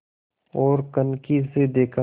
ओर कनखी से देखा